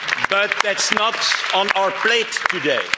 But that's not on our plate today.